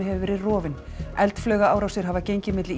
hefur verið rofinn eldflaugaárásir hafa gengið milli